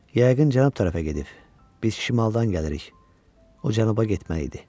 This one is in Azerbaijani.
Yəqin cənab tərəfə gedib, biz şimaldan gəlirik, o cənuba getməli idi.